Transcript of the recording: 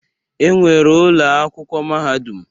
E nwere ụlọakwụkwọ mahadum.